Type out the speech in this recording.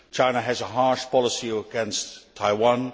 China has a harsh policy against Taiwan.